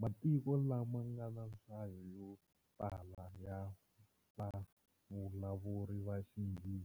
Matiko lama nga na nhlayo yo tala ya vavulavuri va Xinghezi